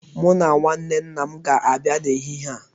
Mu na nwanne nna m ga-abia n'ehihie a